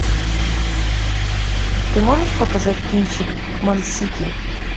ты можешь показать кинчик монсики